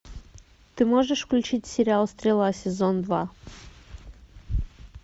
ты можешь включить сериал стрела сезон два